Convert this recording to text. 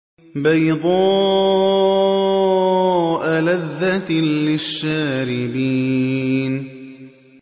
بَيْضَاءَ لَذَّةٍ لِّلشَّارِبِينَ